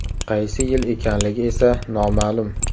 Qaysi yil ekanligi esa noma’lum.